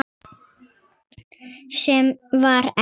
Sem var ekki.